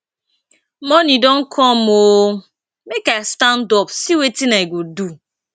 morning don come oo make i stand up see wetin i go do